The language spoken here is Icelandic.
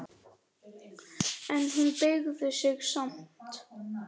En hún beygði sig samt.